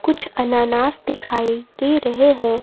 कुछ अनानास दिखाई दे रहे है।